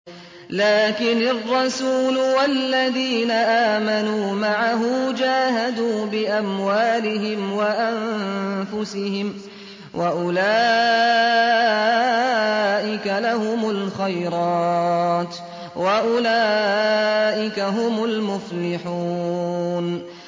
لَٰكِنِ الرَّسُولُ وَالَّذِينَ آمَنُوا مَعَهُ جَاهَدُوا بِأَمْوَالِهِمْ وَأَنفُسِهِمْ ۚ وَأُولَٰئِكَ لَهُمُ الْخَيْرَاتُ ۖ وَأُولَٰئِكَ هُمُ الْمُفْلِحُونَ